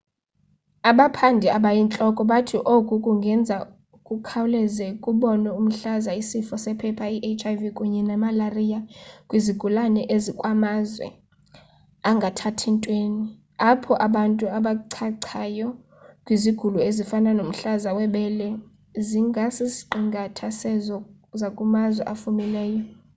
abaphandi abayintloko bathi oku kungenza kukhawuleze kubonwe umhlaza isifo sephepha i-hiv kunye nemalariya kwizigulana zakumazwe angathathi ntweni apho abantu abachachayo kwizigulo ezifana nomhlaza webele zingasisiqingatha sezo zakumazwe afumileyo